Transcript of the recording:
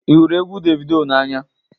ị hụrụ egwu davido n'anya?